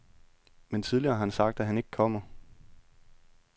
Men tidligere har han sagt, at han ikke kommer.